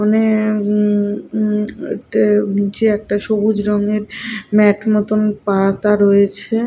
মানে উম উম নিচে একটা সবুজ রঙের ম্যাট মতন পাতা রয়েছে।